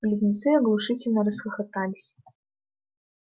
близнецы оглушительно расхохотались